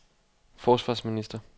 forsvarsminister